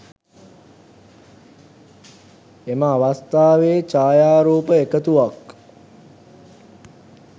එම අවස්ථාවේ ජයාරූප එකතුවක්